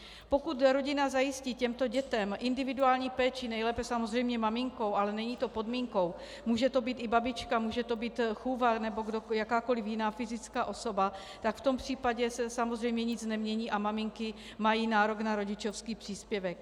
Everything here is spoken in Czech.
Pokud rodina zajistí těmto dětem individuální péči, nejlépe samozřejmě maminkou, ale není to podmínkou, může to být i babička, může to být chůva nebo jakákoliv jiná fyzická osoba, tak v tom případě se samozřejmě nic nemění a maminky mají nárok na rodičovský příspěvek.